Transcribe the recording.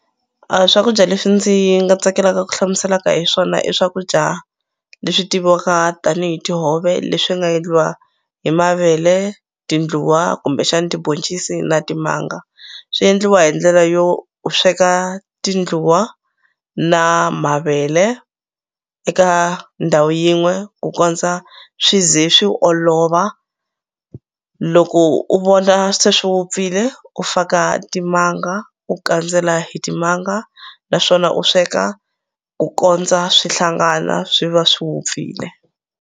A swakudya leswi ndzi nga tsakelaka ku hlamuselaka hi swona i swakudya leswi tiviwaka tanihi tihove leswi nga endliwa hi mavele tindluwa kumbexani tiboncisi na timanga swi endliwa hi ndlela yo u sweka tindluwa na mavele eka ndhawu yin'we ku kondza swi ze swi olova loko u vona se swi vupfile u faka timanga u kandzela hi timanga naswona u sweka ku kondza swi hlangana swi va swi vupfile.